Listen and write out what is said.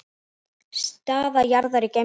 Staða jarðar í geimnum